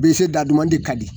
Bilisi dadumanin ka di